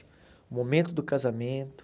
O momento do casamento.